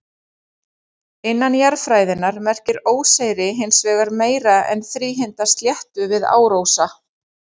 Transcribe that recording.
Innan jarðfræðinnar merkir óseyri hins vegar meira en þríhyrnda sléttu við árósa.